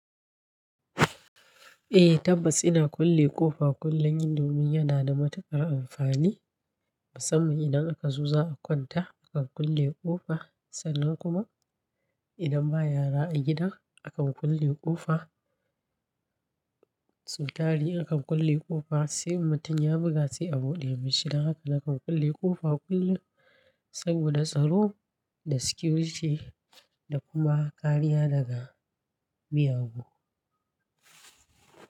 Eh tabbas ina kulle ƙofa kullum domin yana da matuƙar amfani. Saboda idan aka zo za a kwanta akan kulle ƙofa sannan kuma idan ba yara a gida akan kulle ƙofa. Sautari aka kulle ƙofa sai mutum ya buga sai a buɗe mishi. Don haka na kan kulle ƙofa kullum saboda tsaro da security da kuma kariya daga miyagu.